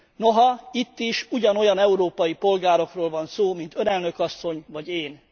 Noha itt is ugyanolyan európai polgárokról van szó, mint Ön, elnök asszony vagy én.